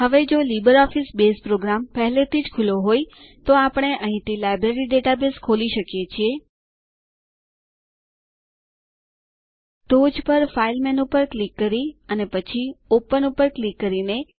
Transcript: હવે જો LibreOffice base program પહેલેથી જ ખુલ્લો હોય તો આપણે અહીં થી લાઈબ્રેરી ડેટાબેઝ ખોલી શકીએ છીએ ટોચ પર ફાઇલ મેનૂ પર ક્લિક કરી અને પછી ઓપન પર ક્લિક કરીને